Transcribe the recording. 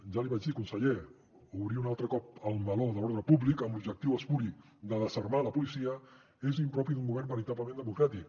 ja l’hi vaig dir conseller obrir un altre cop el meló de l’ordre públic amb l’objectiu espuri de desarmar la policia és impropi d’un govern veritablement democràtic